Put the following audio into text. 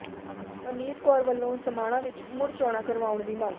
ਪਰਨੀਤ ਕੌਰ ਵੱਲੋਂ ਸਮਾਣਾ ਵਿੱਚ ਮੁੜ ਚੋਣਾਂ ਕਰਵਾਉਣ ਦੀ ਮੰਗ